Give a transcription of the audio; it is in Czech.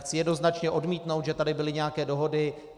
Chci jednoznačně odmítnout, že tady byly nějaké dohody.